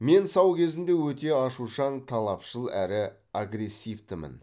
мен сау кезімде өте ашушаң талапшыл әрі агрессивтімін